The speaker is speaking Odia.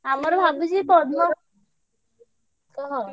ଆମର ଭାବୁଛି ପହରଦିନ କହ।